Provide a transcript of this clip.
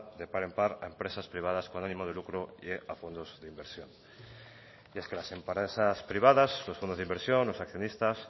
de par en par a empresas privadas con ánimo de lucro y a fondos de inversión y es que las empresas privadas los fondos de inversión los accionistas